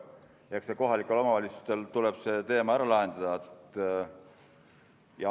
Eks kohalikel omavalitsustel tuleb see teema ära lahendada.